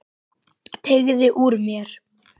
Teygði úr mér.